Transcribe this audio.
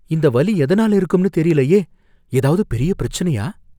இந்த வலி எதனால இருக்கும்னு தெரிலயே. ஏதாவது பெரிய பிரச்சனையா?